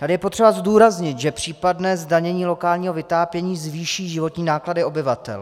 Tady je potřeba zdůraznit, že případné zdanění lokálního vytápění zvýší životní náklady obyvatel.